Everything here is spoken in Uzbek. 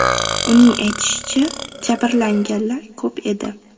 Uning aytishicha, jabrlanganlar ko‘p edi.